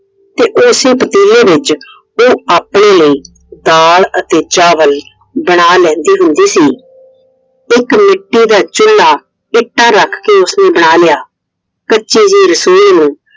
ਤੇ ਉਸੇ ਪਤੀਲੇ ਵਿੱਚ ਉਹ ਆਪਣੇ ਲਈ ਦਾਲ ਅਤੇ ਚਾਵਲ ਬਣਾ ਲੈਂਦੀ ਹੁੰਦੀ ਸੀ। ਇੱਕ ਮਿੱਟੀ ਦਾ ਚੂਲਾ ਇੱਟਾਂ ਰੱਖ ਕੇ ਉਸਨੇ ਬਣਾ ਲਿਆ। ਕੱਚੀ ਜਿਹੀ रसोई ਨੂੰ